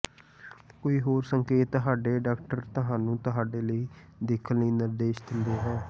ਕੋਈ ਹੋਰ ਸੰਕੇਤ ਤੁਹਾਡੇ ਡਾਕਟਰ ਤੁਹਾਨੂੰ ਤੁਹਾਡੇ ਲਈ ਦੇਖਣ ਲਈ ਨਿਰਦੇਸ਼ ਦਿੰਦਾ ਹੈ